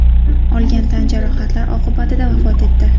olgan tan jarohatlari oqibatida vafot etdi.